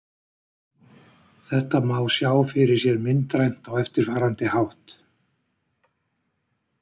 Þetta má sjá fyrir sér myndrænt á eftirfarandi hátt: